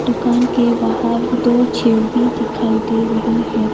दुकान के बाहर दो चेयर भी दिखाई दे रही है।